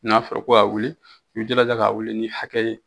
N'a fɔra ko k'a wuli i b'i jilaja k'a wuli ni hakɛ ye.